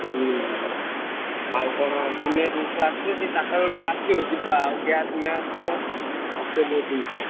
ହୁଁ ହୁଁ ଆଉ କଣ ଦୁନିଆ ଜିନିଷ ଆସିବ ଚାରିଟା ବେଳକୁ ଟିକେ ଆସିବ ଯିବା gas ମ୍ଯାସ ଆସିବ ବହୁତ ଜିନିଷ।